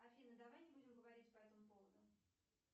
афина давай не будем говорить по этому поводу